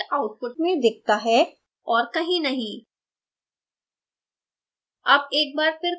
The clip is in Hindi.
शब्द content output में दिखता है और कहीं नहीं